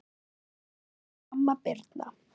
Elsku amma Birna.